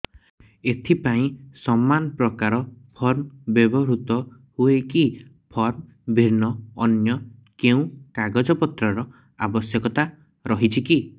ଏଥିପାଇଁ ସମାନପ୍ରକାର ଫର୍ମ ବ୍ୟବହୃତ ହୂଏକି ଫର୍ମ ଭିନ୍ନ ଅନ୍ୟ କେଉଁ କାଗଜପତ୍ରର ଆବଶ୍ୟକତା ରହିଛିକି